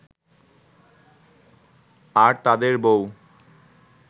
আর তাদের বউ